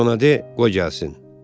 Get ona de, qoy gəlsin.